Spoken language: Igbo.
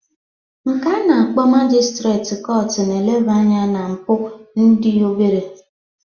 Nke a na-akpọ majistreti kọtụ na-elebanya na mpụ dị obere